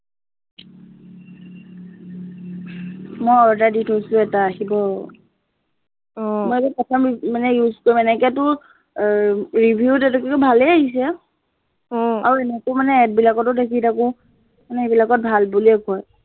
মই order দি থৈছো এটা আহিব মই এইটো প্ৰথম use মানে use কৰিম এনেকেতো এৰ review ত ভালেই আহিছে, আৰু এনেকেও মানে add বিলাকতো দেখি থাকো, মানে সেইবিলাকত ভাল বুলিয়েই কয়।